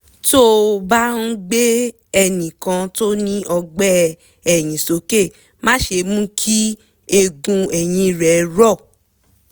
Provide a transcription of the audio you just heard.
tó o bá ń gbé ẹnì kan tó ní ọgbẹ́ ẹ̀yìn sókè má ṣe mú kí eegun ẹ̀yìn rẹ̀ rọ